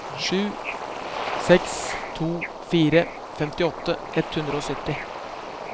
sju seks to fire femtiåtte ett hundre og sytti